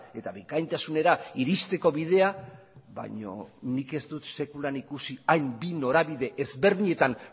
eta bikaintasunera iristeko bidea baino nik ez dut sekulan ikusi hain bi norabide ezberdinetan